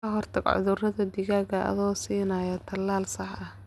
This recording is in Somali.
Ka hortag cudurada digaaga adoo siinaya tallaal sax ah.